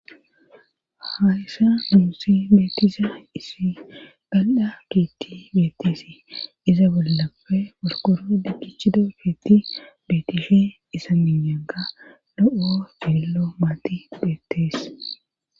Hayssa muusi beettisa isi galda giitti beettisi iza bollapfe wolkoro dikichida fiitti betisfhe isa minyanka lo7o fillo maati beettees.